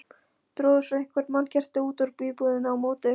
Drógu svo eitthvert mannkerti út úr íbúðinni á móti.